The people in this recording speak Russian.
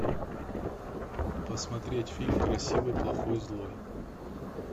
посмотреть фильм красивый плохой злой